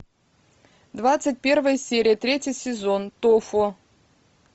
двадцать первая серия третий сезон тофу